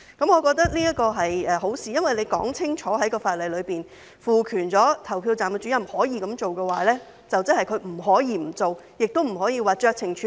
我覺得這是好事，因為在法例裏清楚說明賦權投票站主任可以這樣做的話，即是他不可以不做，亦不可以僅僅酌情處理。